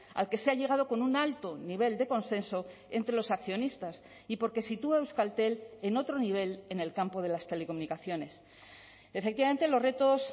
al que se ha llegado con un alto nivel de consenso entre los accionistas y porque sitúa euskaltel en otro nivel en el campo de las telecomunicaciones efectivamente los retos